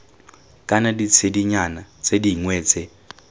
kana ditshedinyana tse dingwe tse